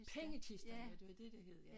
Pengekisten ja det var det det hed ja